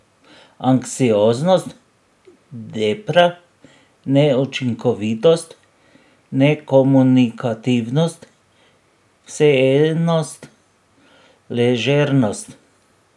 Anksioznost, depra, neučinkovitost, nekomunikativnost, vseenost, ležernost ...